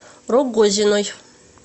рогозиной